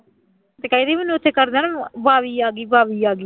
ਤੇ ਕਹਿੰਦੀ ਮੈਨੂੰ ਉੱਥੇ ਕਰਦੇ ਆ ਨਾ ਆ ਗਈ ਆ ਗਈ